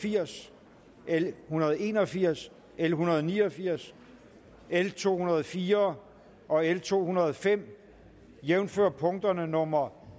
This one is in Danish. firs l en hundrede og en og firs l en hundrede og ni og firs l to hundrede og fire og l to hundrede og fem jævnfør punkterne nummer